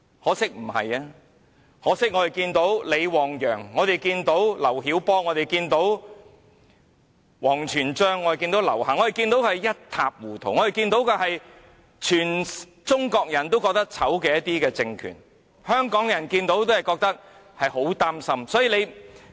可惜不是，可惜我們看見李旺陽、劉曉波、王全璋、劉霞的遭遇，我們看見的是全中國人也覺得醜陋、一塌糊塗的政權，香港人看了也會很擔心。